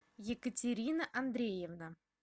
екатерина андреевна